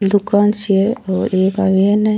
दुकान से और एक आदमी अन्ने।